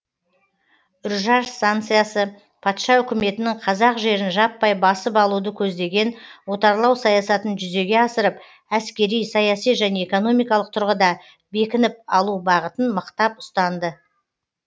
үржар станицасы патша үкіметінің қазақ жерін жаппай басып алуды көздеген отарлау саясатын жүзеге асырып әскери саяси және экономикалық тұрғыда бекініп алу бағытын мықтап ұстанды